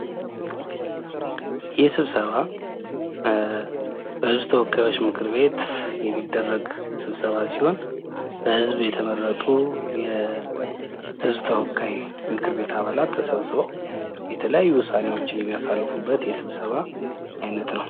ይህ ስብሰባ በህዝብ ተወካዮች ምክር ቤት የሚደረግ ስብሰባ ሲሆን በህዝብ የተመረጡ የህዝብ ተወካይ ምክር ቤት አባላት ተሰብስበው የተለያዩ ውሳኔዎች የሚያሳልፉበት የስብሰባ አይነት ነው።